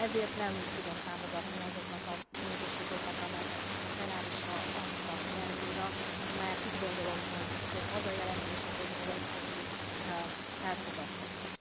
Ezért nem tudom támogatni azokat a módosítókat, amelyeket most a plenárisra adtak be újra, mert úgy gondolom, hogy az a jelentés, ahogy volt, az így elfogadható.